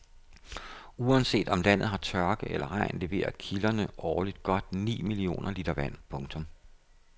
Uanset om landet har tørke eller regn leverer kilderne årligt godt ni millioner liter vand. punktum